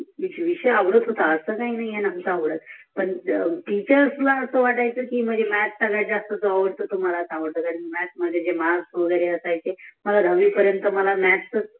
विषय आवडत होता असा नही कि नव्हता आवडत पण म्याथ सगळ्यात जास्त आवडतो जो मलाच आवडतो कारण म्याथ मध्ये जे मार्क असायचे मला दहाव्वी पर्यंत मला